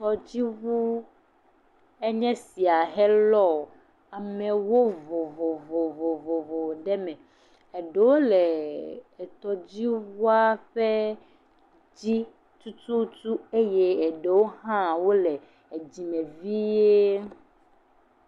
Tɔdziŋu enye sia helɔ amewo vovovovovovo ɖe eme, eɖewo le etɔdziŋua ƒe dzi tututu eye eɖewo hã wole edzi me vie.